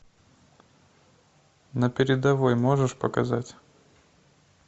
на передовой можешь показать